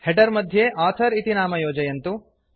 header मध्ये author इति नाम योजयन्तु